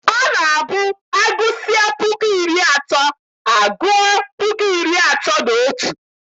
Ọ na-abụ agụsịa puku iri atọ agua puku iri atọ na otu.